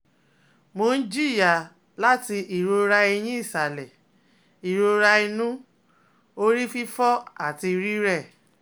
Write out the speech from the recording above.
Mo n jiya lati irora eyin isale, irora inu, orififo ati rirẹ